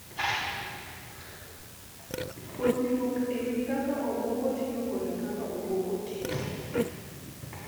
Puonjruok e wi kaka obwongo tiyo kod kaka obwongo tiyo.